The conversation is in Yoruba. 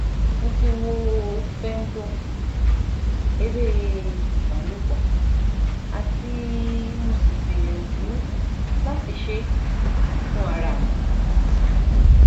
mo ti wo femdome ere ibalopo ati mo si gbiyanju lati se e fun ara mi